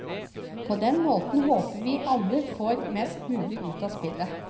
På den måten håper vi at alle får mest mulig ut av spillet.